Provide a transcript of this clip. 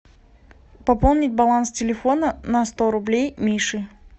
пополнить баланс телефона на сто рублей мише